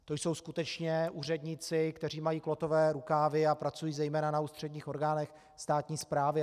To jsou skutečně úředníci, kteří mají klotové rukávy a pracují zejména na ústředních orgánech státní správy.